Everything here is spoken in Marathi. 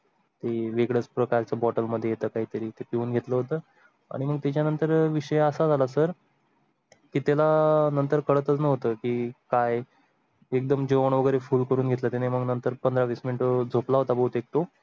ते वेगळ्याच प्रकारचा bottle मध्ये येत काही तरी तिथून घेतलं होतं आणि मग त्याच्या नंतर विषय असा ला सर त्याला नंतर कळलं होतं की काय एकदम जेवण वगैरे फूल करूण घेतला त्याने आणि मग नंतर पंधरा वीस minute झोप ला होता बहुतेक तो.